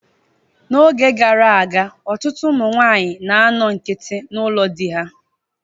N'oge gara aga, ọtụtụ ụmụ nwaanyị na-anọ nkiti n'ụlọ di ha.